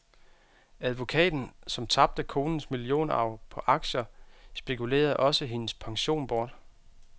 Advokaten, som tabte konens millionarv på aktier, spekulerede også hendes pension bort.